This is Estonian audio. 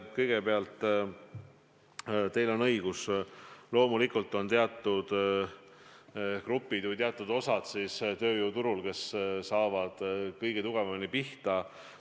Kõigepealt, teil on õigus, loomulikult on teatud grupid tööjõuturul, kes saavad kõige tugevamini pihta.